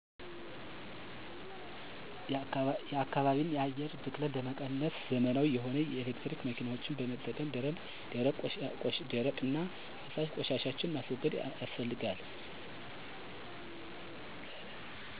ተሽከርካሪዎችን ወደ ኤሌክትሪክ በመቀየር፣ ከተማ አስተዳደሩ የደረቅ ቆሻሻ ማስወገጃ ስርአት በመዘርጋት፣ ማህበረሰቡ የፈሳሽ ቆሻሻ ማስረጊያ እንዲጠቀሙ በማስተማር ወዘተ...